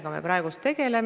Sellega hakatakse tegelema.